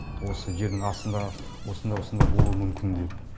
осы жердің астында осындай осындай болуы мүмкін деп